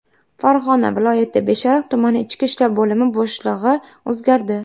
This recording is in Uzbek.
Farg‘ona viloyati Beshariq tumani ichki ishlar bo‘limi boshlig‘i o‘zgardi.